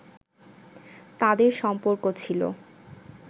তাঁদের সম্পর্ক ছিল